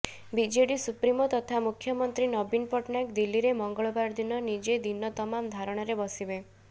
BJD supremo ତଥା ମୁଖ୍ୟମନ୍ତ୍ରୀ ନବୀନ ପଟ୍ଟନାୟକ ଦିଲ୍ଲୀରେ ମଙ୍ଗଳବାର ଦିନ ନିଜେ ଦିନ ତମାମ ଧାରଣାରେ ବସିବେ